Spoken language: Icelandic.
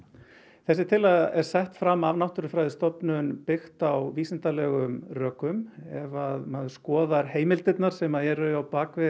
þessi tillaga er sett fram af Náttúrufræðistofnun byggt á vísindalegum rökum ef maður skoðar heimildirnar sem eru á